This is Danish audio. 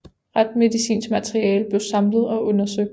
Retsmedicinsk materiale blev samlet og undersøgt